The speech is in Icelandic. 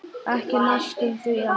Ekki næstum því allt.